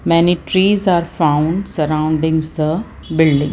many trees are found sorroundings the building.